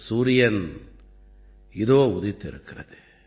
சூரியன் இதோ உதித்திருக்கிறது